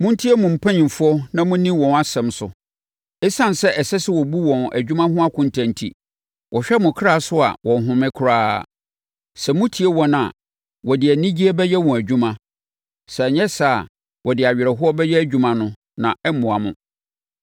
Montie mo mpanimfoɔ na monni wɔn asɛm so. Esiane sɛ ɛsɛ sɛ wɔbu wɔn adwuma ho akonta enti, wɔhwɛ mo kra so a wɔnhome koraa. Sɛ motie wɔn a, wɔde anigyeɛ bɛyɛ wɔn adwuma. Sɛ anyɛ saa a wɔde awerɛhoɔ bɛyɛ adwuma no na ɛremmoa mo.